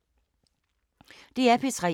DR P3